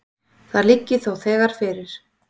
Það liggi þó þegar fyrir.